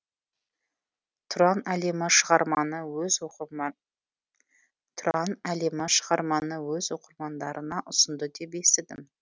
тұран әлемі шығарманы өз оқырмандарына ұсынды деп естідім